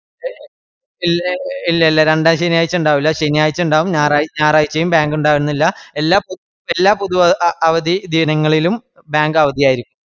A ഇല്ല ഇല്ല രണ്ടാംശെനിയാഴ്ചയ്ണ്ടാവില്ല ശനിയായ്ച്ചയ്ണ്ടാവും ഞാറായ്ച്ച ഞാറായ്ച്ചയും bank ഇണ്ടാവണമെന്നില്ല. എല്ലാ പു പുതു അവ അവധി ദിനങ്ങളിലും bank അവധിയായിരിക്കും.